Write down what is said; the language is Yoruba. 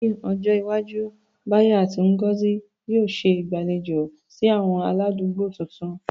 Ní ọjọ́ iwájú, Bayo àti Ngozi yóò ṣe ìgbàlejò sí àwọn aládùúgbò tuntun.